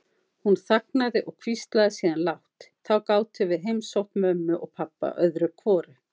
Hún þagnaði og hvíslaði síðan lágt: Þá gátum við heimsótt mömmu og pabba öðru hvoru.